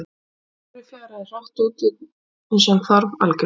Sjúkdómurinn fjaraði hratt út uns hann hvarf algjörlega.